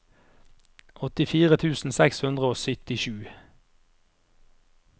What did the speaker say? åttifire tusen seks hundre og syttisju